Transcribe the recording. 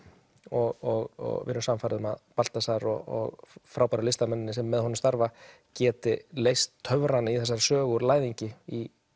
og við erum sannfærð um að Baltasar og frábæru listamennirnir sem með honum starfa geti leyst töfrana í þessari sögu úr læðingi í